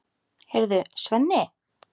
Heyrðu, Svenni!